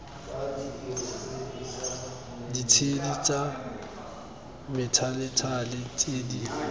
ditshedi tsa methalethale tse di